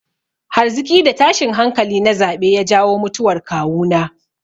Hargitsi da tashin hankali na zaɓe ya jawo mutuwar kawuna.